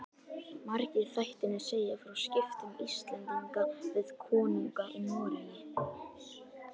Margir þættirnir segja frá skiptum Íslendinga við konunga í Noregi.